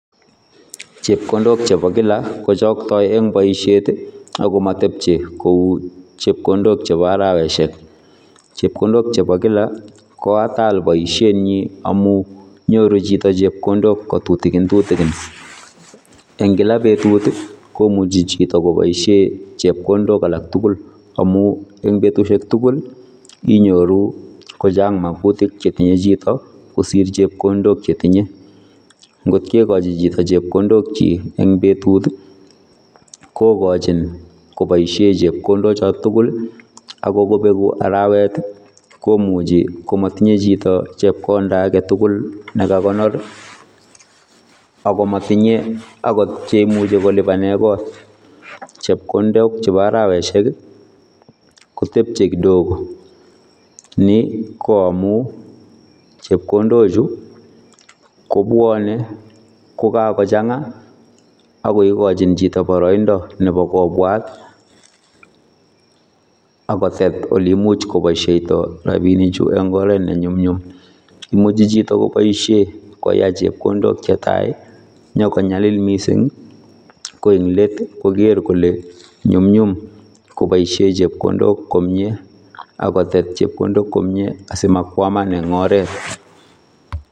Chepkondook che bo kila kochaktaen en boisiet ii ako matepchei koi chepkondook che bo arowasiek chepkondook che bo kila ko ataal boisienyiin amuu nyoruu chitoo chepkondook ko tutukin tutukin en kila betut komuchei chitoo kobaisheen chepkondook alaak tuguul amuun en betusiek tugul inyoruu kochaang magutikk che tinyei chitoo kosiir chepkondook che tinyei, ngoot kegachii chitoo chepkondook kyiik en betut ii ko kochiin kobaisheen chepkondook chotoon tugul ako beguu araweet komuchei kimatinyei chitoo chepkondaa age tugul nekakonoor ako matinyei akoot chekimuchei kolupaneen koot , chepkondook che bo arowasiek kotebiyee kidogo, ni ko amuun chepkondook chuu ko bwane ko kakochangaa ako igochiin chitoo baraindaa nebo kobwaat ago tet oleimuich kobaishaitaa rapinik chuu en oret ne nyumnyum, imuchii chitoo kobaisheen koyai chepkondook che tai inyokonyalil missing ii ko en let koger kole nyumnyum kobaisheen chepkondook komyei akotet chepkondook komyei asimakwamaan en oret.